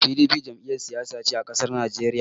PDP Jam'iyar Siyasa ce a ƙasar Naijeriya